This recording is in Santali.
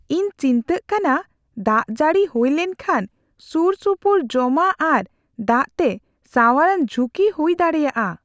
ᱤᱧ ᱪᱤᱱᱛᱟᱹᱜ ᱠᱟᱱᱟ ᱫᱟᱜ ᱡᱟᱹᱲᱤ ᱦᱩᱭ ᱞᱮᱱᱠᱷᱟᱱ ᱥᱩᱨᱼᱥᱩᱯᱩᱨ ᱡᱚᱢᱟᱜ ᱟᱨ ᱫᱟᱜ ᱛᱮ ᱥᱟᱶᱟᱨᱟᱱ ᱡᱷᱩᱠᱤ ᱦᱩᱭ ᱫᱟᱲᱮᱭᱟᱜᱼᱟ ᱾